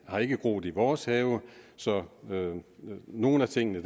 har ikke groet i vores have så nogle af tingene